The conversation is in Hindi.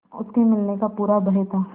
उसके मिलने का पूरा भय था